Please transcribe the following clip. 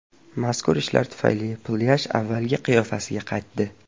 Mazkur ishlar tufayli plyaj avvalgi qiyofasiga qaytdi.